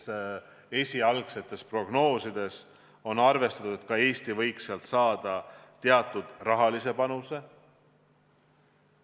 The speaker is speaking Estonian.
Jah, esialgsetes prognoosides on arvestatud, et ka Eesti võiks sealt teatava rahalise panuse saada.